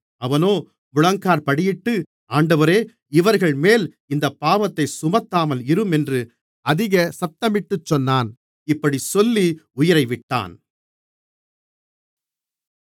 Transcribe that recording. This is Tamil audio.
அவனோ முழங்காற்படியிட்டு ஆண்டவரே இவர்கள்மேல் இந்தப்பாவத்தைச் சுமத்தாமல் இரும் என்று அதிக சத்தமிட்டுச் சொன்னான் இப்படிச் சொல்லி உயிரைவிட்டான்